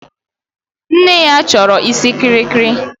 Nne ya chọrọ isi kirikiri